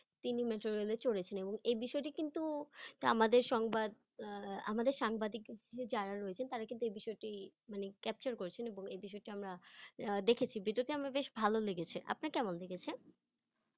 তিনি metro rail -এ চড়েছেন এবং এই বিষয়টি কিন্তু আমাদের সংবাদ আহ আমাদের সাংবাদিক যাঁরা রয়েছেন তাঁরা কিন্তু এই বিষয়টি মানে capture করেছেন এবং এই বিষয়টি আমরা আহ দেখেছি, video -টি আমার বেশ ভালো লেগেছে । আপনার কেমন লেগেছে?